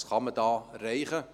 Was könnte man hier erreichen?